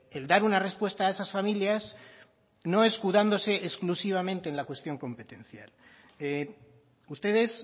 el dar una respuesta a esas familias no escudándose exclusivamente en la cuestión competencial ustedes